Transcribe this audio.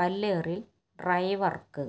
കല്ലേറില് ഡ്രൈവര്ക്ക്